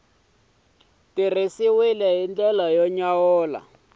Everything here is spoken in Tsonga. tirhisiwile hi ndlela y amukeleka